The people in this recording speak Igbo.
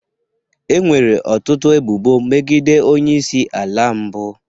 Enwere ọtụtụ ebubo megide onye isi ala mbụ